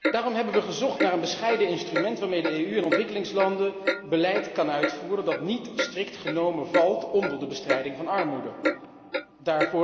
Daarom hebben wij gezocht naar een bescheiden instrument waarmee de EU in ontwikkelingslanden beleid kan uitvoeren dat niet strikt genomen onder de bestrijding van armoede valt.